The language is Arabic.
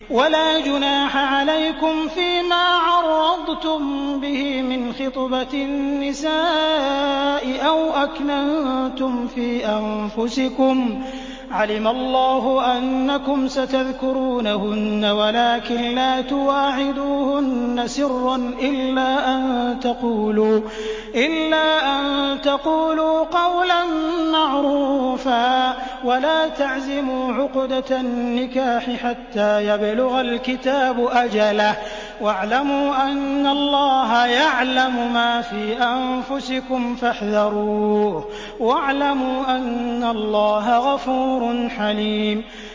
وَلَا جُنَاحَ عَلَيْكُمْ فِيمَا عَرَّضْتُم بِهِ مِنْ خِطْبَةِ النِّسَاءِ أَوْ أَكْنَنتُمْ فِي أَنفُسِكُمْ ۚ عَلِمَ اللَّهُ أَنَّكُمْ سَتَذْكُرُونَهُنَّ وَلَٰكِن لَّا تُوَاعِدُوهُنَّ سِرًّا إِلَّا أَن تَقُولُوا قَوْلًا مَّعْرُوفًا ۚ وَلَا تَعْزِمُوا عُقْدَةَ النِّكَاحِ حَتَّىٰ يَبْلُغَ الْكِتَابُ أَجَلَهُ ۚ وَاعْلَمُوا أَنَّ اللَّهَ يَعْلَمُ مَا فِي أَنفُسِكُمْ فَاحْذَرُوهُ ۚ وَاعْلَمُوا أَنَّ اللَّهَ غَفُورٌ حَلِيمٌ